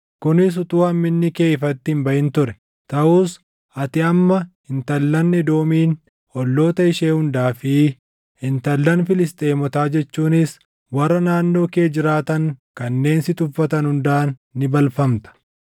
kunis utuu hamminni kee ifatti hin baʼin ture. Taʼus ati amma intallan Edoomiin, olloota ishee hundaa fi intallan Filisxeemotaa jechuunis warra naannoo kee jiraatan kanneen si tuffatan hundaan ni balfamta.